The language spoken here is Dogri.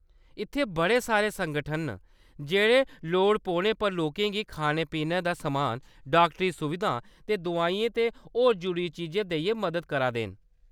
इत्थै बड़े सारे संगठन न जेह्‌‌ड़े लोड़ पौने पर लोकें गी खाने-पीने दा समान, डाक्टरी सुविधां ते दोआइयें ते होर जरूरी चीजां देइयै मदद करा दे न।